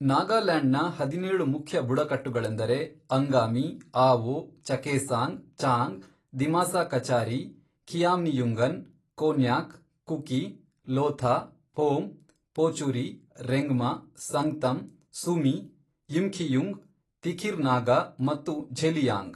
ನಾಗಾಲ್ಯಾಂಡ್ನ ಹದಿನೇಳು ಮುಖ್ಯ ಬುಡಕಟ್ಟುಗಳೆಂದರೆ ಅಂಗಾಮಿ, ಆವೊ, ಚಕೇಸಾಂಗ್, ಚಾಂಗ್, ದಿಮಾಸಾ ಕಚಾರಿ, ಖಿಯಾಮ್ನಿಯುಂಗನ್, ಕೋನ್ಯಾಕ್, ಕುಕಿ, ಲೋಥಾ, ಫೋಮ್, ಪೋಚುರಿ, ರೆಂಗ್ಮಾ, ಸಂಗ್ತಮ್, ಸುಮಿ, ಯಿಮ್ಖಿಯುಂಗ್, ತಿಖಿರ್ ನಾಗಾ ಮತ್ತು ಝೆಲಿಯಾಂಗ್.